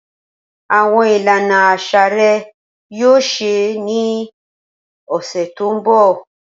Awọn ilana aṣa rẹ yoo ṣee ṣe ni ọsẹ to nbọ.